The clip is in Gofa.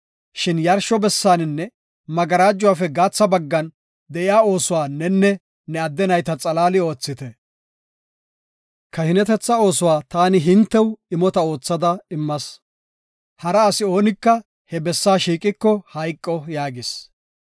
Shin yarsho bessaaninne magarajuwafe gaatha baggan de7iya oosuwa nenne ne adde nayta xalaali oothite. Kahinetetha oosuwa taani hintew imota oothada immas; hara asi oonika he bessaa shiiqiko hayqo” yaagis.